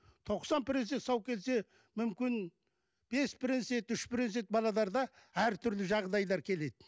тоқсан процент сау келсе мүмкін бес процент үш процент балаларда әртүрлі жағдайлар келеді